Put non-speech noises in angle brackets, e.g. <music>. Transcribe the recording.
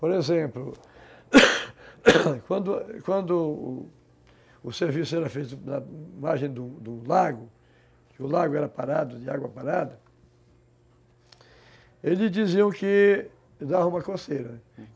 Por exemplo, <coughs> quando o serviço era feito na margem do lago, que o lago era parado, de água parada, eles diziam que dava uma coceira.